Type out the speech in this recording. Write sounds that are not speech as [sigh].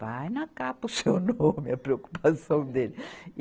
Vai na capa o seu nome, [laughs] a preocupação dele.